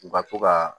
U ka to ka